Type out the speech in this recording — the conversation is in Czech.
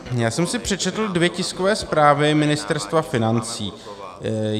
Já jsem si přečetl dvě tiskové zprávy Ministerstva financí.